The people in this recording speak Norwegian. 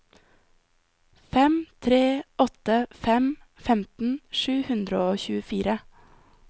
fem tre åtte fem femten sju hundre og tjuefire